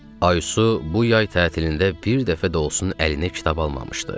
Aysu bu yay tətilində bir dəfə də olsun əlinə kitab almamışdı.